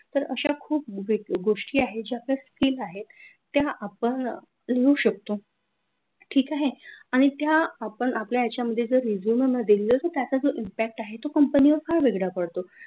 तर अशा खूप गोष्टी आहेत ज्या आपल्या skill आहेत त्या आपण लिहू शकतो. ठीक आहे. आणि त्या आपण आपल्या याच्यामध्ये resume मध्ये जर दिल तर त्याचा जो impact आहे तो company वर फार वेगळा पडतो.